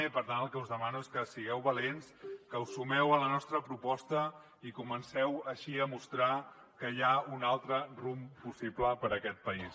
i per tant el que us demano és que sigueu valents que us sumeu a la nostra proposta i comenceu així a mostrar que hi ha un altre rumb possible per a aquest país